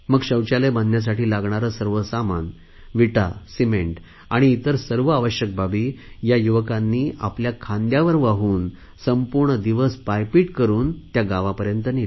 शौचालय बांधण्यासाठी लागणारे सर्व सामान विटा सिमेंट आणि इतर सर्व आवश्यक बाबी या युवकांनी आपल्या खांद्यावर वाहून संपूर्ण दिवस पायपीट करुन त्या गावापर्यंत नेल्या